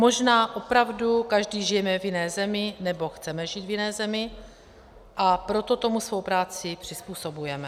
Možná opravdu každý žijeme v jiné zemi, nebo chceme žít v jiné zemi, a proto tomu svou práci přizpůsobujeme.